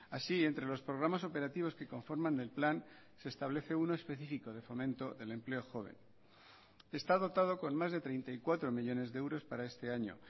así entre los programas operativos que conforman el plan se establece uno específico de fomento del empleo joven está dotado con más de treinta y cuatro millónes de euros para este año